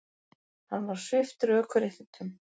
Hann var sviptur ökuréttindum